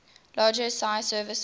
larger sgi servers